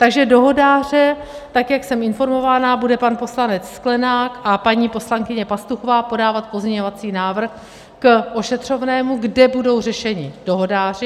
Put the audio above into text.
Takže dohodáře - tak jak jsem informovaná, bude pan poslanec Sklenák a paní poslankyně Pastuchová podávat pozměňovací návrh k ošetřovnému, kde budou řešeni dohodáři.